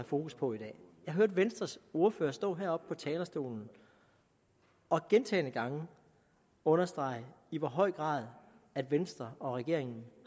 fokus på i dag jeg hørte venstres ordfører stå heroppe på talerstolen og gentagne gange understrege i hvor høj grad venstre og regeringen